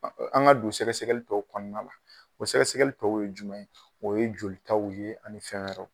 An ŋa don sɛgɛsɛgɛli tɔw kɔɔna la. O sɛgɛsɛgɛli tɔw ye jumɛn ye, o ye jolitaw ye ani fɛn wɛrɛw.